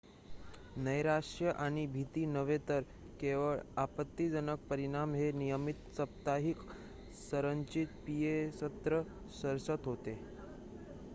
नैराश्य आणि भीती नव्हे तर केवळ आपत्तिजनक परिणाम हे नियमित साप्ताहिक संरचित पीए सत्र सशर्त होते